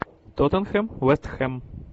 тоттенхэм вест хэм